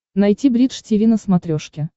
найти бридж тиви на смотрешке